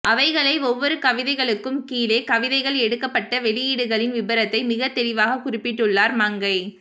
அவைகளை ஒவ்வொரு கவிதைகளுக்கும் கீழே கவிதைகள் எடுக்கப்பட்ட வெளியீடுகளின் விபரத்தை மிகத் தெளிவாக குறிப்பிட்டுள்ளார் மங்கை